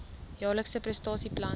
jaarlikse prestasie plan